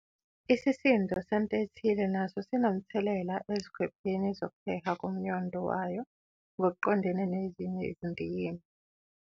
Isisindo sento ethile naso sinomthelela ezikhwepheni zokuheha komnyondo wayo ngokoqondene nezinye izindikimba.